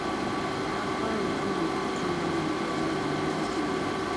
apárò kan ò jùkan lọ níjọba a mi makinde